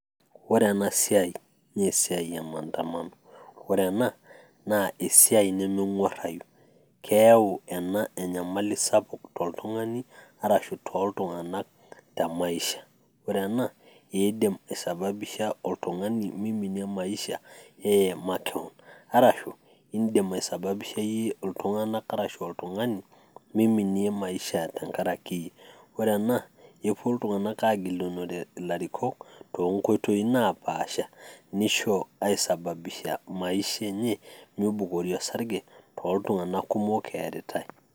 ore ena siai naa esiia e maandamano, ore ena naa esiai nemeng'uarayu, keyau ena enyamali sapuk toltungani arashu tooltunganak te maisha. ore ena naa eidim aisababisha oltungani miminie maisha neye makewon, arashu idim aisababisha iyie iltunganak ashu oltungani meiminie maisha, tenkaraki iyie ,oree ena epuo ltungank aagilunore ilarikok too nkoitoi napaasha, nisababisha mibukori osarge tooltunganka kumok eeritae.